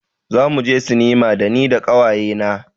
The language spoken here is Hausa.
Zamu je sinima da ni da ƙawaye na.